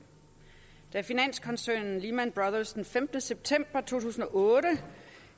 da finanskoncernen lehman brothers den femte september to tusind og otte